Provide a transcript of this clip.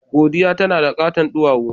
Godiya tana da katon duwawu.